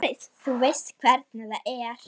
Þú veist hvernig það er.